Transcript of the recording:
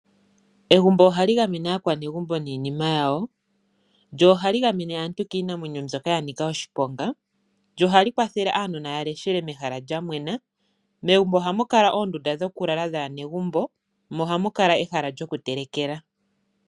Egumbo ohali gamene aakwanegumbo ninima yawo. Ohali gamene woo aantu kiinamwenyo mbyoka ya nika oshiponga. Ohali kwathele aanona yaleshele mehala lyamwena. Megumbo ohamu kala oondunda dhokulala dhaanegumbo, mo ohamu kala ehala lyokutelekela .